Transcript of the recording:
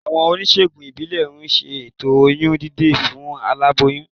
Àwọn oníṣègùn ìbílẹ̀ ń ṣe ètò oyún dídè fún aláboyún